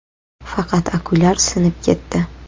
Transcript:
Faqat okulyar sinib ketdi.